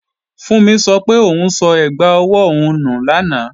Fúnmi sọ pé òun sọ ẹgbà ọwọ́ òun nù lánàá